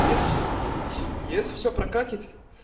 и это все регулировать и если все прокатит